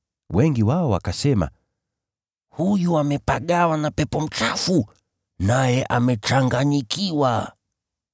Wengi wao wakasema, “Huyu amepagawa na pepo mchafu, naye amechanganyikiwa.”